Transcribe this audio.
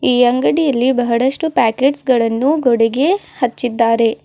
ಈ ಅಂಗಡಿಯಲ್ಲಿ ಬಹಳಷ್ಟು ಪ್ಯಾಕೆಟ್ಸ್ ಗಳನ್ನು ಗೋಡೆಗೆ ಹಚ್ಚಿದ್ದಾರೆ.